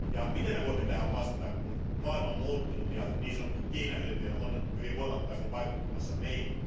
Miten voimme vastata siihen, että maailma on muuttunut ja niin sanottu kiinailmiö on hyvin voimakkaasti vaikuttamassa meihin?